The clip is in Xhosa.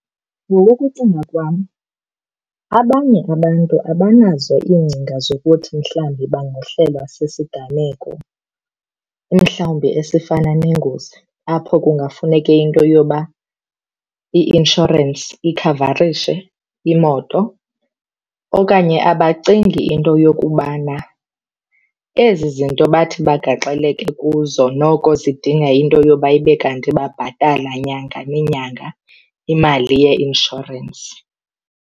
Ngokokucinga kwam abanye abantu abanazo iingcinga zokuthi mhlawumbi bangahlelwa sisiganeko mhlawumbi esifana nengozi apho kungafuneke into yoba i-inshorensi ikhavarishe imoto. Okanye abacingi into yokubana ezi zinto bathi bagaxeleke kuzo noko zidinga into yoba ibe kanti babhatala nyanga nenyanga imali yeinshorensi.